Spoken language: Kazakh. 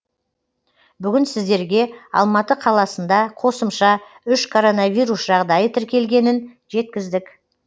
бүгін сіздерге алматы қаласында қосымша үш коронавирус жағдайы тіркелгенін жеткіздік